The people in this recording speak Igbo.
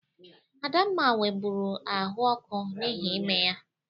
Adamma nwebụru ahụ ọkụ n'ihi ime ya.